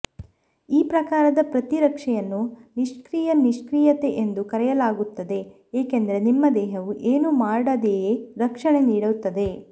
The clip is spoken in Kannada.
ಈ ಪ್ರಕಾರದ ಪ್ರತಿರಕ್ಷೆಯನ್ನು ನಿಷ್ಕ್ರಿಯ ನಿಷ್ಕ್ರಿಯತೆ ಎಂದು ಕರೆಯಲಾಗುತ್ತದೆ ಏಕೆಂದರೆ ನಿಮ್ಮ ದೇಹವು ಏನು ಮಾಡದೆಯೇ ರಕ್ಷಣೆ ನೀಡುತ್ತದೆ